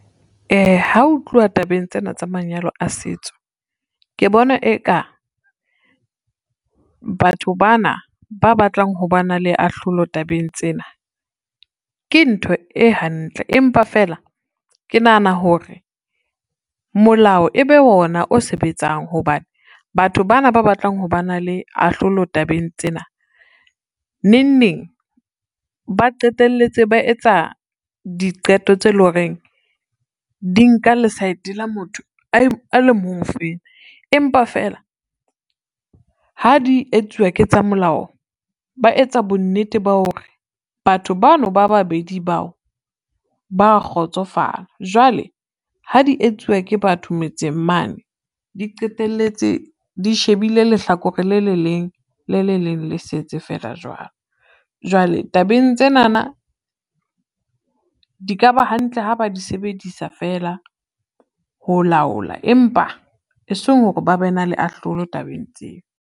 Ha o tluwa tabeng tsena tsa manyalo a setso, ke bona eka batho ba na ba batlang ho ba na le ahlolo tabeng tsena, ke ntho e hantle empa fela ke nahana hore molao ebe ona o sebetsang, hobane batho bana ba batlang ho ba na le ahlolo tabeng tsena, neng neng ba qetelletse ba etsa diqeto tse e lo reng di nka lesaeteng la motho a le mong o fela. Empa feela ha di etsuwa ke tsa molao, ba etsa bo nnete ba hore batho bano ba babedi bao ba kgotsofala, jwale ha di etsuwa ke batho metseng mane, di qetelletse di shebile lehlakore le le leng, le le leng le setse fela jwalo. Jwale tabeng tsenana, di ka ba hantle ha ba di sebedisa fela ho laola empa eseng hore ba be na le ahlola tabeng tseo.